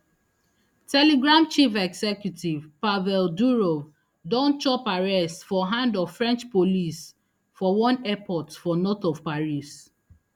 telegram chief executive pavel durov don chop arrest for hand of french police for one airport for north of paris